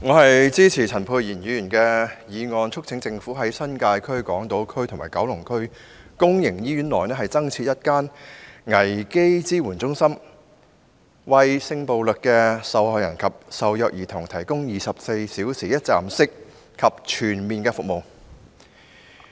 我支持陳沛然議員的原議案，促請政府在新界區、港島區及九龍區公營醫院內各增設一間危機支援中心，為性暴力受害人及受虐兒童提供24小時一站式和全面服務。